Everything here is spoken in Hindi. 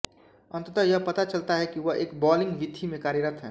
अंततः यह पता चलता है कि वह एक बॉलिंग वीथी में कार्यरत है